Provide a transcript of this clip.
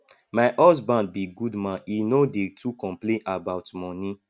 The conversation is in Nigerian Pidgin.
my husband be good man he no dey too complain about money